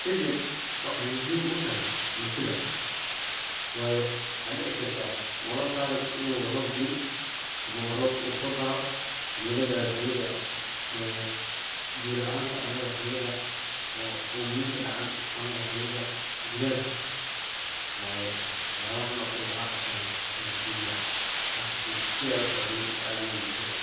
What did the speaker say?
Shaygan waxaay muhim utahay bulshada, waayo waxaa dici kartah marar qar eh inuu ba rob deein ama ba robka uu so daho ama lagaro xiliga ee biya laanta ama ba xiliga omoyinka dacan ama ba xiliga jilalka, waayo wax yabahan oo kale waxaa qabtan madaxtoyada qasatan si ay ucawiyan bulshada